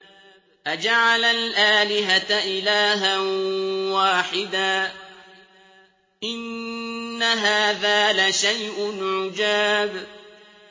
أَجَعَلَ الْآلِهَةَ إِلَٰهًا وَاحِدًا ۖ إِنَّ هَٰذَا لَشَيْءٌ عُجَابٌ